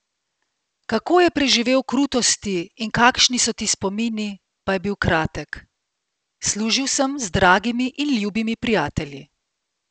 Kako je preživel krutosti in kakšni so ti spomini, pa je bil kratek: "Služil sem z dragimi in ljubimi prijatelji.